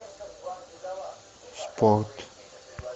спорт